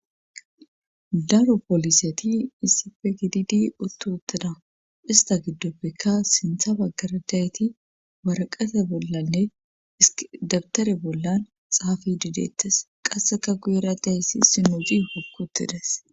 Daro poliseti issippe gididi utti uttida issta gidopekka sinththa bagara diyayiti waraqate bollanne dawutare bolla xaafide deetees. qasekka guyera diya issinozi hoki uttidees.